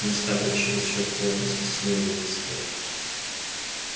места тут чересчур плотность населения слишком низкая